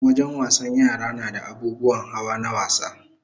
Wajen wasan yara nada abubuwan hawa na wasa